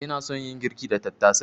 Ina son yin girki da tattasai.